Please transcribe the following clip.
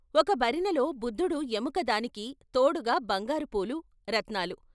ఒక భరిణెలో బుద్ధుడు ఎముక దానికి తోడుగా బంగారు పూలు, రత్నాలు.